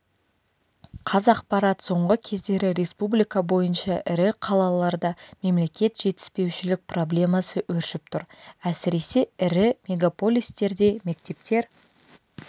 қазақпарат соңғы кездері республика бойынша ірі қалаларда мектеп жетіспеушілік проблемасы өршіп тұр әсіресе ірі мегополистерде мектептер